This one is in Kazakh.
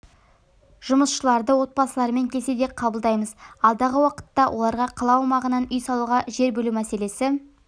жұмысшыларды отбасыларымен келсе де қабылдаймыз алдағы уақытта оларға қала аумағынан үй салуға жер бөлу мәселесі